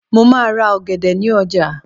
mo ma ra ògèdè ni oja